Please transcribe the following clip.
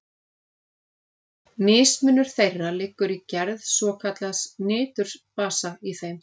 Mismunur þeirra liggur í gerð svokallaðs niturbasa í þeim.